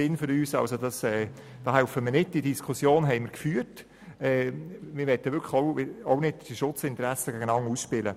Wir haben diese Diskussion bereits geführt und möchten diese Schutzinteressen nicht gegeneinander ausspielen.